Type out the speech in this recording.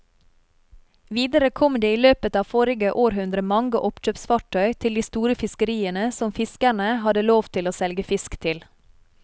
Videre kom det i løpet av forrige århundre mange oppkjøpsfartøy til de store fiskeriene som fiskerne hadde lov til å selge fisk til.